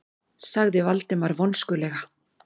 sagði Valdimar vonskulega.